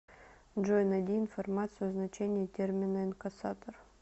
джой найди информацию о значении термина инкассатор